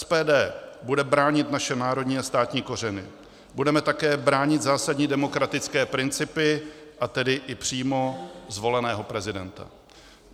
SPD bude bránit naše národní a státní kořeny, budeme také bránit zásadní demokratické principy, a tedy i přímo zvoleného prezidenta.